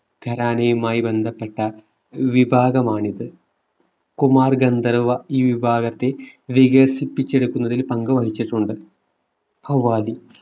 ഖരാനിയുമായി ബന്ധപ്പെട്ട വിഭാഗമാണിത്. കുമാര്‍ ഗന്ധർവ്വ ഈ വിഭാഗത്തെ വികസിപ്പിച്ചെടുക്കുന്നതിൽ പങ്കു വഹിച്ചിട്ടുണ്ട്. ഖവാലി